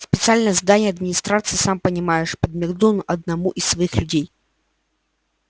специальные задания администрации сам понимаешь подмигнул он одному из своих людей